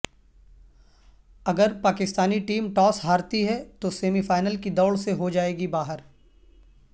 اگر Pakistani team toss ہارتی ہے تو سیمی فائنل کی دوڑ سے ہو جائیگی باہر